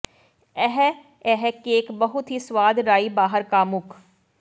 ਇਹ ਇਹ ਕੇਕ ਬਹੁਤ ਹੀ ਸਵਾਦ ਰਾਈ ਬਾਹਰ ਕਾਮੁਕ